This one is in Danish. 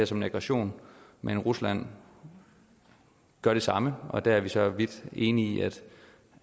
som en aggression men rusland gør det samme og der er vi for så vidt enig i